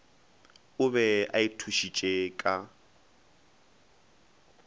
o be a ithušitše ka